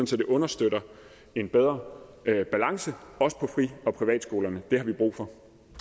så det understøtter en bedre balance også på fri og privatskolerne det har vi brug for